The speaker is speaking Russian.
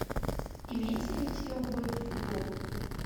имеется ли у тебя убойный футбол